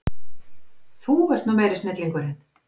Þú ert nú meiri snillingurinn!